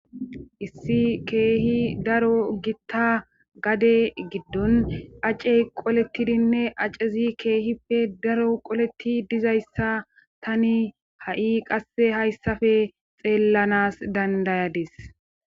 Issi keehi daro gitta gade giddon acccey qoletidinne accezi keehippe daro qoletti dizayssa tani ha7i qasse hayssafe xeellanas dandayadis.